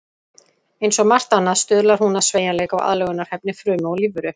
Eins og margt annað stuðlar hún að sveigjanleika og aðlögunarhæfni frumu og lífveru.